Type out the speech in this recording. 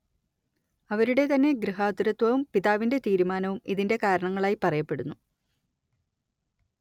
അവരുടെ തന്നെ ഗൃഹാതുരത്വവും പിതാവിന്റെ തീരുമാനവും ഇതിന്റെ കാരണങ്ങളായി പറയപ്പെടുന്നു